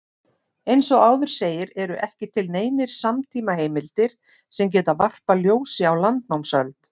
Eins og áður segir eru ekki til neinar samtímaheimildir sem geta varpað ljósi á landnámsöld.